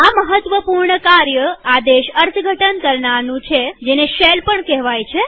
આ મહત્વપૂર્ણ કાર્ય આદેશ અર્થઘટન કરનારનું છેજેને શેલ પણ કેહવાય છે